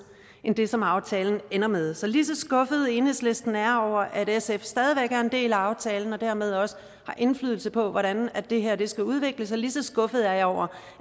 end det som aftalen ender med så lige så skuffet enhedslisten er over at sf stadig væk er en del af aftalen og dermed også har indflydelse på hvordan det her skal udvikle sig lige så skuffet er jeg over